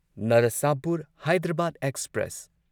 Narsapur Hyderabad express